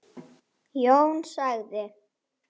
Jón sagði